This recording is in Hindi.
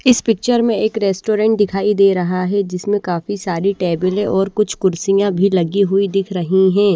इस पिक्चर मे एक रेस्टोरेंट दिखाई दे रहा है जिसमें काफी सारी टेबले और कुछ कुर्सियां भी लगी हुई दिख रही है।